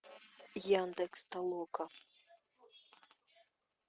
яндекс толока